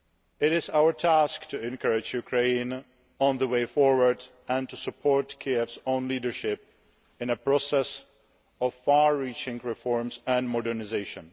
area, It is our task to encourage Ukraine on the way forward and to support Kiev's own leadership in a process of far reaching reforms and modernisation.